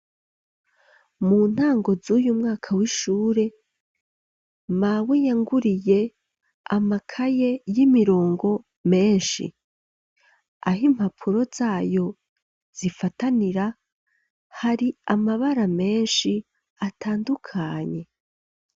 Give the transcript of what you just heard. Mu ntango z'uyu mwaka, w'ishure, mawe, yanguriye amakaye, y'imirongo, menshi; aho impapuro zayo, zifatanira, hari amabara menshi, atandukanye.